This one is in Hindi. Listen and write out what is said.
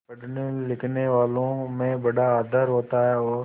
पढ़नेलिखनेवालों में बड़ा आदर होता है और